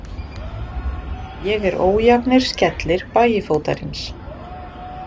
Ég er ójafnir skellir Bægifótarins.